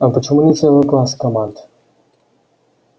а почему не целый класс команд